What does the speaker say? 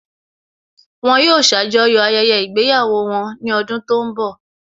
Wọn yóò ṣàjọyọ̀ ayẹyẹ ìgbéyàwó wọn ní ọdún tó ń bọ̀